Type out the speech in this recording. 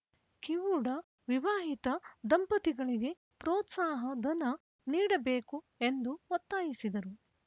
ಕಿವುಡ ವಿವಾಹಿತ ದಂಪತಿಗಳಿಗೆ ಪ್ರೋತ್ಸಾಹ ಧನ ನೀಡಬೇಕು ಎಂದು ಒತ್ತಾಯಿಸಿದರು